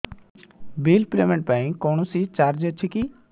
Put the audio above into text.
bill payment ପାଇଁ କୌଣସି charge ଅଛି କି